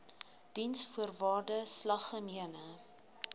diensvoorwaardesalgemene